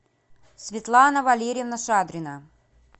светлана валерьевна шадрина